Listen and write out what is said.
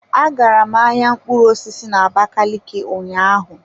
Agara m ahịa mkpụrụ osisi na abakaliki ụnyaahụ.